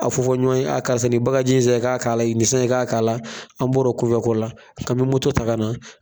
A fɔ fɔ ɲɔgɔn ye, a karisa ni baganji in san k'a k'a la, nin san i k'a k'a la, an bɔra o ko la, k'an bi moto ta ka na